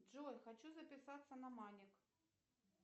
джой хочу записаться на маник